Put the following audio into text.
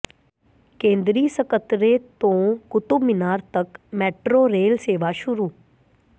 ਕੇਂਦਰੀ ਸਕੱਤਰੇਤ ਤੋਂ ਕੁਤਬ ਮੀਨਾਰ ਤੱਕ ਮੈਟਰੋ ਰੇਲ ਸੇਵਾ ਸ਼ੁਰੂ